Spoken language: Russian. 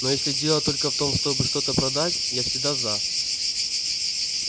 но если дело только в том чтобы что-то продать я всегда за